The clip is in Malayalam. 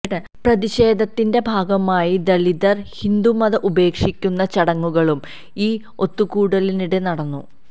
പ്രതിഷേധത്തിന്റെ ഭാഗമായി ദലിതർ ഹിന്ദുമതം ഉപേക്ഷിക്കുന്ന ചടങ്ങുകളും ഈ ഒത്തുകൂടലിനിടെ നടന്നു